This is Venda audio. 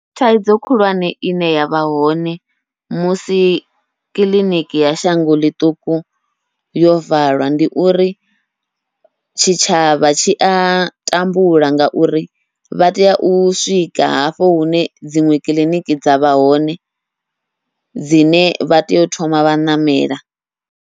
Thaidzo khulwane ine yavha hone musi kiḽiniki ya shango ḽiṱuku yo valwa, ndi uri tshitshavha tshi a tambula ngauri vha tea u swika hafho hune dziṅwe kiḽiniki dzavha hone dzine vha tea u thoma vha ṋamela.